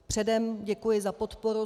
Předem děkuji za podporu.